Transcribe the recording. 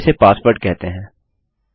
चलिए इसे पासवर्ड कहते हैं